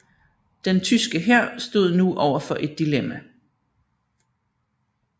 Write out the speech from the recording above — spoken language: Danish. Den tyske hær stod nu overfor et dilemma